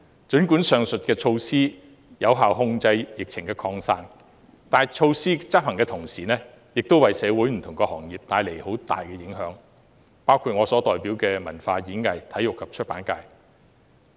儘管上述措施能有效控制疫情的擴散，但措施的執行為社會不同行業帶來很大的影響，包括我所代表的體育、演藝、文化及出版界。